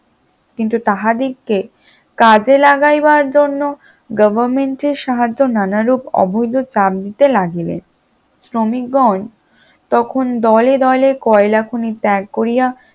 কিন্তু তাহাদিগকে কাজে লাগাইবার জন্য government র সাহায্য নানারূপ অবৈধ চাপ দিতে লাগিলেন, শ্রমিকগণ তখন দলে দলে কয়লা খনি ত্যাগ করিয়া